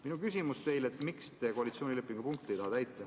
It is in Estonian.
Minu küsimus teile on, miks te ei taha koalitsioonilepingu punkti täita.